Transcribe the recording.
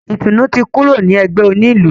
Ìtùnú ti kúrò ní ẹgbẹ́ onílù.